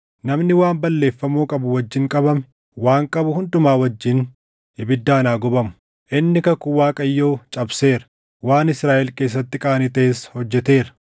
Namni waan balleeffamuu qabu wajjin qabame, waan qabu hundumaa wajjin ibiddaan haa gubamu. Inni kakuu Waaqayyoo cabseera; waan Israaʼel keessatti qaanii taʼes hojjeteera!’ ”